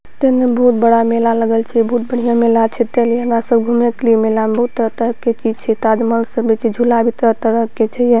ते ने बहुत बड़ा मेला लगल छै बहुत बढ़िया मेला छै चलिए ने सब घूमे के लिए मेला में बहुत तरह-तरह के चीज छै ताजमहल सब भी छै झूला भी तरह-तरह के छैए ये।